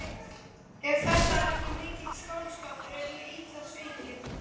Ef þetta er ekki mikill skáldskapur er ég illa svikin.